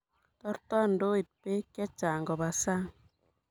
Tartoi ndoit beek chechang' koba sang.